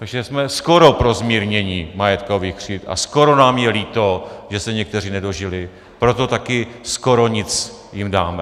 Takže jsme skoro pro zmírnění majetkových křivd a skoro nám je líto, že se někteří nedožili, proto také skoro nic jim dáme.